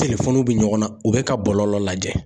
bɛ ɲɔgɔn na u bɛ ka bɔlɔlɔ lajɛ